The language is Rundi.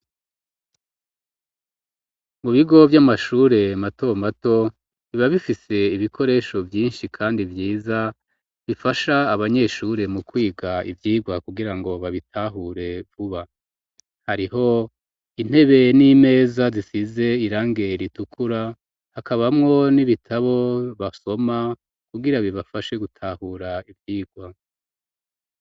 Mu bigo vy'amashure mato mato biba bifise ibikoresho vyishi kandi vyiza bifasha abanyeshure mu kwiga ivyirwa kugirango babitahure vuba hariho intebe n'imeza zisize irangi ritukura hakabamwo n'ibitabo basoma kugira bibafashe gutahura ivyirwa.